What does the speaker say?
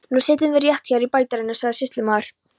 Nú setjum við rétt hér í bæjardyrum, sagði sýslumaður.